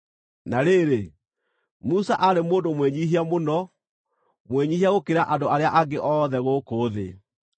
(Na rĩrĩ, Musa aarĩ mũndũ mwĩnyiihia mũno, mwĩnyiihia gũkĩra andũ arĩa angĩ othe gũkũ thĩ).